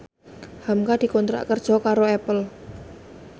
hamka dikontrak kerja karo Apple